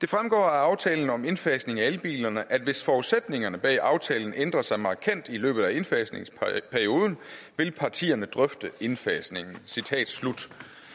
af aftalen om indfasningen af elbilerne at hvis forudsætningerne bag aftalen ændrer sig markant i løbet af indfasningsperioden vil partierne drøfte indfasningen citat slut